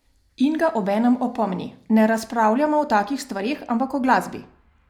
In ga obenem opomni: "Ne razpravljamo o takih stvareh, ampak o glasbi.